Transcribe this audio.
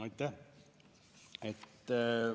Aitäh!